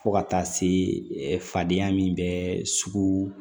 Fo ka taa se fadenya min bɛ sugu